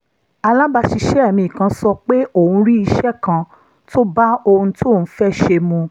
alábàáṣiṣẹ́ mi kan sọ pé òun rí iṣẹ́ kan tó bá ohun tóun fẹ́ ṣe mu